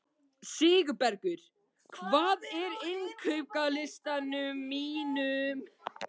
Sigurbergur, hvað er á innkaupalistanum mínum?